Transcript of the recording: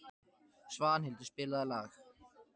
Svanhildur, spilaðu lag.